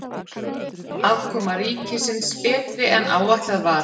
Afkoma ríkisins betri en áætlað var